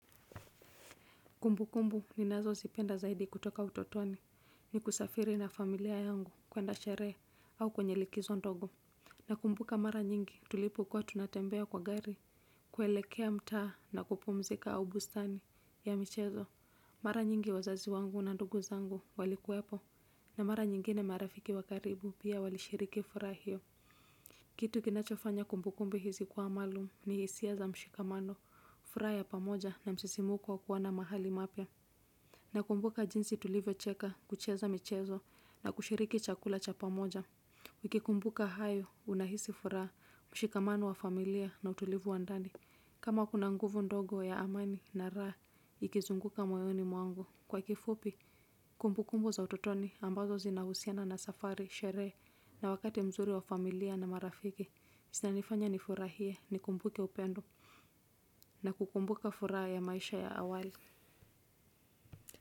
Kumbu kumbu ni nazo zipenda zaidi kutoka utotoni ni kusafiri na familia yangu kuenda sherehe au kwenye likizo ndogo na kumbuka mara nyingi tulipokuwa tunatembea kwa gari kuelekea mtaa na kupumzika au bustani ya michezo mara nyingi wazazi wangu na nduguzangu walikuwepo na mara nyingine marafiki wakaribu pia walishiriki furaha hiyo. Kitu kinachofanya kumbukumbi hizi kuwa maalum ni hisia za mshikamano, furaha ya pamoja na msisimko wa wa kuwa na mahali mapya. Na kumbuka jinsi tulivyo cheka, kucheza michezo na kushiriki chakula cha pamoja. Nikikumbuka hayo, unahisi furaha, mshikamano wa familia na utulivu wa ndani. Kama kuna nguvu ndogo ya amani na raha, ikizunguka moyoni mwangu. Kwa kifupi, kumbu kumbu za ututoni ambazo zinahusiana na safari, sherehe na wakati mzuri wa familia na marafiki. Zinanifanya ni furahie, ni kumbuke upendo na kukumbuka furaha ya maisha ya awali.